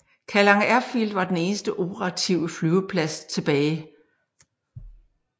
Kallang Airfield var den eneste operative flyveplads tilbage